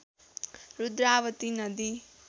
रुद्रावती नदी